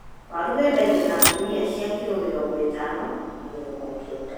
Waru wendagio na ngũnia cia kiro mĩrongo ĩtano na mĩrongo kenda.